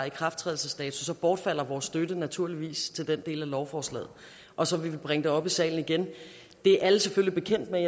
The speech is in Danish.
ikrafttrædelsesdatoen så bortfalder vores støtte naturligvis til den del af lovforslaget og så vil vi bringe det op i salen igen det er alle selvfølgelig bekendt med